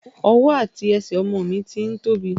Ọwọ́ àti ẹsẹ̀ ọmọ mi ti ń tóbi.